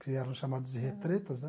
Que eram chamadas de retretas, né?